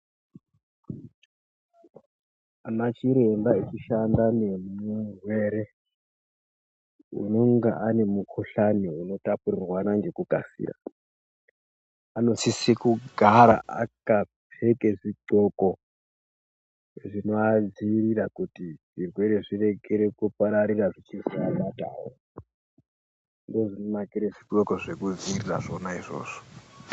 Anachiremba echishanda nemurwere unonga ane mukuhlani unotapurirwana ngekukasira, anosise kugara akapfeke zvidxoko zvinoadziirira kuti zvirwere zvirekere kupararira zvichizoabatawo. Ndozvinonakire zvidxoko zvekudziirira zvona izvozvo.